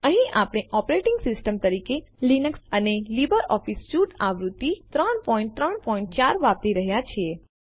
અહીં આપણે operating system તરીકે જીએનયુ લીનક્સ અને લીબર ઓફીસ સ્યુટ આવૃત્તિ ૩૩૪ વાપરી રહ્યા છીએ